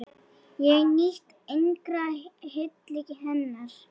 Ég nýt engrar hylli hennar!